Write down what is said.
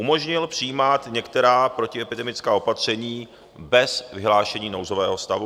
Umožnil přijímat některé protiepidemická opatření bez vyhlášení nouzového stavu.